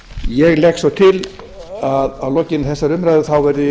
ég legg svo til að lokinni þessari umræðu þá verði